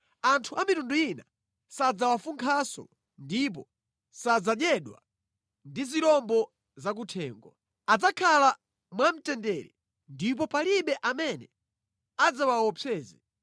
Anthu amitundu ina sadzawafunkhanso ndipo sadzadyedwa ndi zirombo zakuthengo. Adzakhala mwamtendere ndipo palibe amene adzawaopseze.